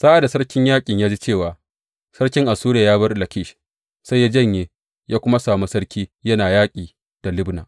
Sa’ad da sarkin yaƙin ya ji cewa sarkin Assuriya ya bar Lakish, sai ya janye ya kuma sami sarki yana yaƙi da Libna.